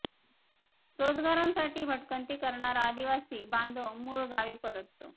रोजगारांसाठी भटकंती करणारा आदिवासी बांधव मूळ गावी परततो